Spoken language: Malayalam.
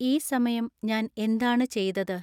ഈ സമയം ഞാൻ എന്താണ് ചെയ്തത്